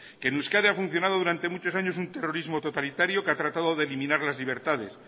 que en euskadi ha funcionado durante muchos años un terrorismo totalitario que ha tratado de blindar las libertades